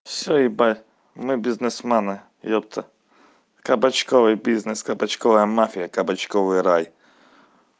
всё ебать мы бизнесмены ёпта кабачковой бизнес кабачковая мафия кабачковый рай